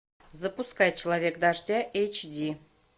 запускай человек дождя эйч ди